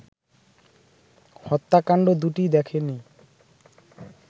হত্যাকাণ্ড দুটি দেখেনি